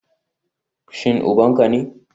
Shin uban ka ne?